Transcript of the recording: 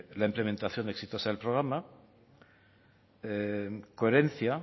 la implementación exitosa del programa coherencia